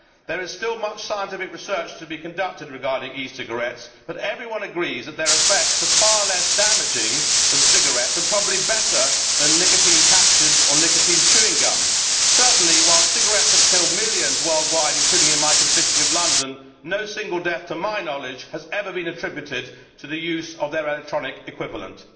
There is still much scientific research to be conducted regarding e cigarettes, but everyone agrees that their effects are far less damaging than cigarettes, and probably better than nicotine patches or nicotine chewing gum. Certainly, while cigarettes have killed millions worldwide, including in my constituency of London, no single death to my knowledge has ever been attributed to the use of their electronic equivalent.